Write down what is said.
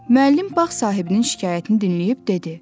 Müəllim bağ sahibinin şikayətini dinləyib dedi.